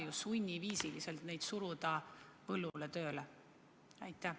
Me ei saa ju sunniviisil neid põllule tööle suruda.